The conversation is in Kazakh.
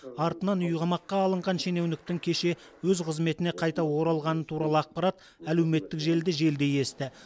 артынан үйқамаққа алынған шенеуніктің кеше өз қызметіне қайта оралғаны туралы ақпарат әлеуметтік желіде желдей есті